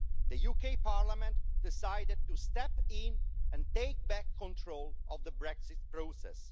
The UK Parliament decided to step in and take back control of the Brexit process.